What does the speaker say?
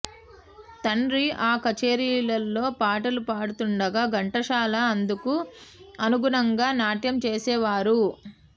తండ్రి ఆ కచేరీలలో పాటలు పాడుతుండగా ఘంటసాల అందుకు అనుగుణంగా నాట్యం చేసేవారు